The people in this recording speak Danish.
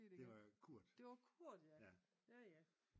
Det var Kurt